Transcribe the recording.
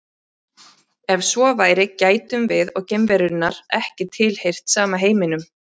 Ef svo væri gætum við og geimverunnar ekki tilheyrt sama heiminum.